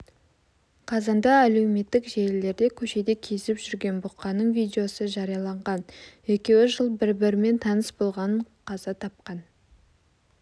қазанда әлеуметтік желілерде көшеде кезіп жүрген бұқаның видеосы жарияланған екеуі жыл бір-бірімен таныс болған қаза тапқан